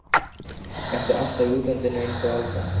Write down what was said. Ertu alltaf í útlandinu einsog Alda?